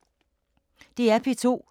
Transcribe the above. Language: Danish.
DR P2